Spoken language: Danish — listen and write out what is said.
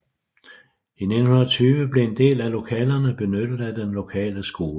I 1920 blev en del af lokalerne benyttet af den lokale skole